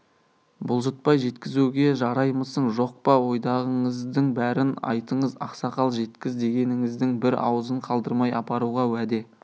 бұлжытпай жеткізуге жараймысың жоқ па ойдағыңыздың бәрін айтыңыз ақсақал жеткіз дегеніңіздің бір ауызын қалдырмай апаруға уәде